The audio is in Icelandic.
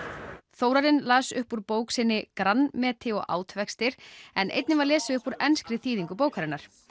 Þórarinn las upp úr bók sinni Átvextir en einnig var lesið upp úr enskri þýðingu bókarinnar